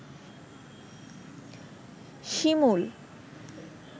শিমুল